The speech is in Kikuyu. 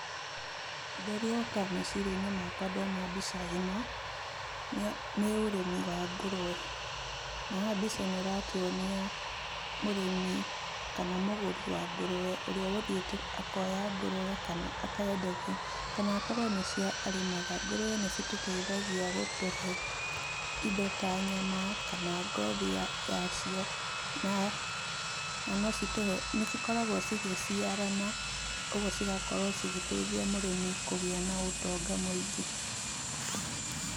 Ũndũ ũrĩa ũkaga meciria-inĩ makwa ndona mbica ĩno, nĩ ũrĩmi wa ngũrũwe. Na haha mbica ĩno ĩratuonia mũrĩmi kana mũgũri wa ngũruwe, ũria ũgũthiĩte akoya ngũruwe kana akenderio, kana akorwo nĩ cio arĩmaga. Ngũrũwe nĩcitũteithagia gũtũhe indo ta nyama, kana ngothi ya cio na nocitũhe, nĩ cikoragwo cigĩciarana, ũguo cigakorwo cigĩteithia mũrĩmi kũgĩa na ũtonga mũingĩ.